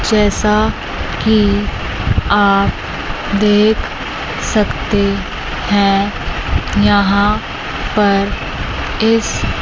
जैसा कि आप देख सकते हैं यहां पर इस--